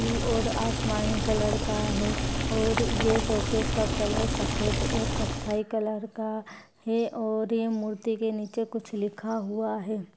ऊ और आसमानी कलर का है और यह शोकेस का कलर सफ़ेद और कत्थई कलर का है और ये मूर्ति के निचे कुछ लिखा हुआ है।